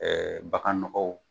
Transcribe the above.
bagan nɔgɔ